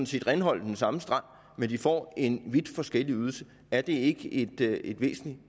skal renholde den samme strand men hvor de får en vidt forskellig ydelse er det ikke ikke et væsentligt